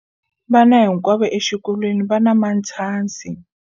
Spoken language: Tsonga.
Vana hinkwavo exikolweni va na matshansi.